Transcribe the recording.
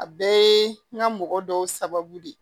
A bɛɛ n ka mɔgɔ dɔw sababu de